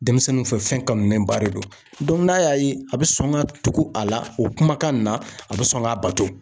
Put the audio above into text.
Denmisɛnninw fɛ fɛn kanulen ba de don dɔnku n'a y'a ye a bi sɔn ka tugu a la o kumakan in na a bi sɔn ka bato